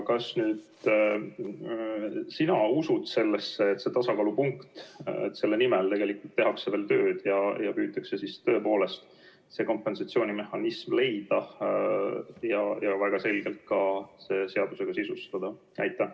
Kas sina usud sellesse, et leitakse see tasakaalupunkt, kui selle nimel tehakse veel tööd ning püütakse tõepoolest see kompensatsioonimehhanism leida ja see ka väga selgelt seaduses sisustada?